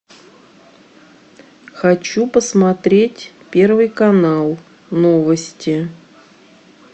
хочу посмотреть первый канал новости